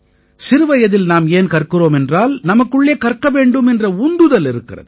சிறுவயதில் நாம் ஏன் கற்கிறோம் என்றால் நமக்குள்ளே கற்க வேண்டும் என்ற உந்துதல் இருக்கிறது